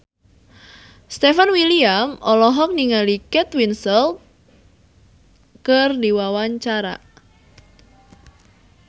Stefan William olohok ningali Kate Winslet keur diwawancara